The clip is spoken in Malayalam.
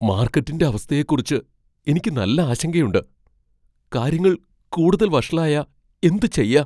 മാർക്കറ്റിന്റെ അവസ്ഥയെക്കുറിച്ച് എനിക്ക് നല്ല ആശങ്കയുണ്ട്. കാര്യങ്ങൾ കൂടുതൽ വഷളായാ എന്ത് ചെയ്യാ ?